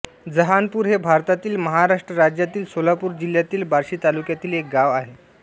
जहानपूर हे भारतातील महाराष्ट्र राज्यातील सोलापूर जिल्ह्यातील बार्शी तालुक्यातील एक गाव आहे